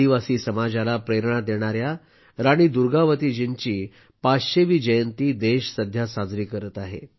आदिवासी समाजाला प्रेरणा देणार्या राणी दुर्गावतीजींची 500 वी जयंती देश सध्या साजरी करत आहे